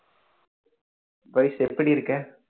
பவிஷ் எப்படி இருக்க